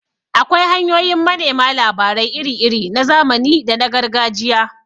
Akwai hanyoyin manema labarai iri-iri na zamani da na Gargajiya.